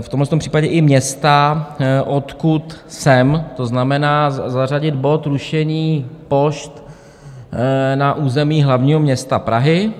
v tomhletom případě i města, odkud jsem, to znamená zařadit bod Rušení pošt na území hlavního města Prahy.